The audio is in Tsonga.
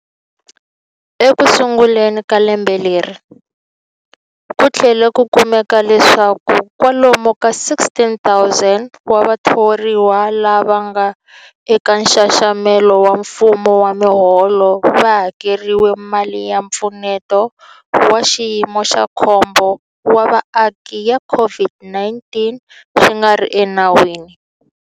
Ekusunguleni ka lembe leri, ku tlhele ku kumeka leswaku kwalomu ka 16,000 wa vathoriwa lava nga eka nxaxamelo wa mfumo wa miholo va hakeriwile mali ya Mpfuneto wa Xiyimo xa Khombo wa Vaaki ya COVID-19 swi nga ri enawini.